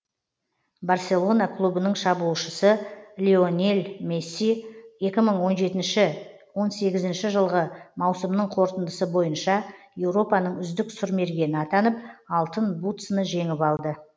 барселона клубының шабуылшысы лионель месси екі мың он жетінші он сегізінші жылғы маусымның қорытындысы бойынша еуропаның үздік сұрмергені атанып алтын бутсыны жеңіп алды